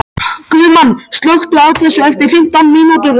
Guðmann, slökktu á þessu eftir fimmtán mínútur.